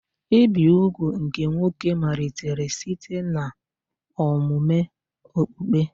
Ibi úgwù nke nwoke malitere site n'omume okpukpe.